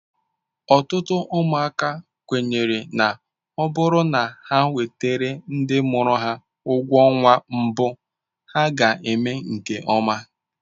Ọtụtụ ụmụaka kwenyere na ọ bụrụ na ha wetara ndị mụrụ ha ụgwọ ọnwa mbụ ha ga-eme nke ọma.